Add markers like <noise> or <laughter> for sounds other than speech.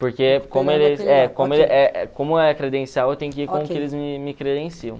Porque como <unintelligible> como é credencial, eu tenho que ir com o que eles me me credenciam.